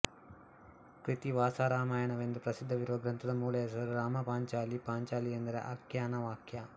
ಕೃತ್ತಿವಾಸರಾಮಾಯಣವೆಂದು ಪ್ರಸಿದ್ಧವಿರುವ ಗ್ರಂಥದ ಮೂಲ ಹೆಸರು ರಾಮಪಾಂಚಾಲೀ ಪಾಂಚಾಲೀ ಎಂದರೆ ಆಖ್ಯಾನ ಕಾವ್ಯ